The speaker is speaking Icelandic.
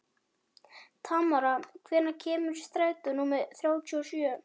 Tamara, hvenær kemur strætó númer þrjátíu og sjö?